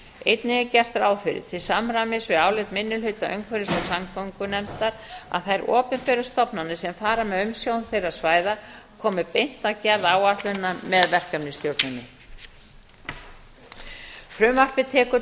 einnig er gert ráð fyrir til samræmis við álit minni hluta umhverfis og samgöngunefndar að þær opinberu stofnanir sem fara með umsjón þeirra svæða komi beint að gerð áætlunar með verkefnisstjórninni frumvarpið tekur